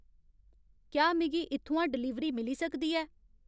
क्या मिगी इत्थुआं डलीवरी मिली सकदी ऐ